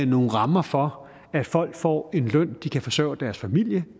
nogle rammer for at folk får en løn de kan forsørge deres familie